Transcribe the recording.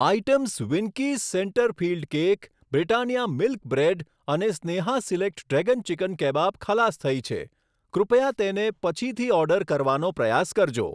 Items Winkies centre filled cake, Britannia milk bread અને Sneha select dragon chicken kebab ખલાસ થઈ છે, કૃપયા તેને પછીથી ઓર્ડર કરવાનો પ્રયાસ કરજો.